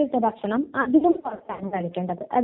ഓ ഐ ഓ ശരിയാ